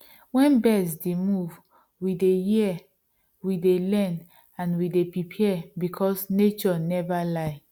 wen birds d move we dey hear we dey learn and we dey prepare becos nature never lie